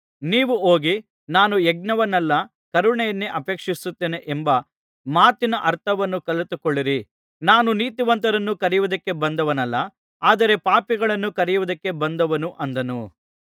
ನೀವು ಹೋಗಿ ನಾನು ಯಜ್ಞವನ್ನಲ್ಲ ಕರುಣೆಯನ್ನೇ ಅಪೇಕ್ಷಿಸುತ್ತೇನೆ ಎಂಬ ಮಾತಿನ ಅರ್ಥವನ್ನು ಕಲಿತುಕೊಳ್ಳಿರಿ ನಾನು ನೀತಿವಂತರನ್ನು ಕರೆಯುವುದಕ್ಕೆ ಬಂದವನಲ್ಲ ಆದರೆ ಪಾಪಿಗಳನ್ನು ಕರೆಯುವುದಕ್ಕೆ ಬಂದವನು ಅಂದನು